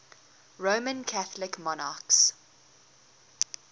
roman catholic monarchs